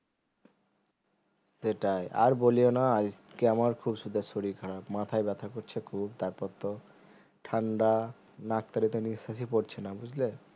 সেটাই আর বলিও না আজকে আমার খুব সুদ্দা শরীর খারাপ মাথায় ব্যথা করছে খুব তারপর তো ঠান্ডা নাক থেকে নিঃশ্বাসই পড়ছে না বুজলে